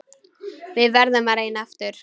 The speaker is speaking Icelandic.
Við verðum að reyna aftur.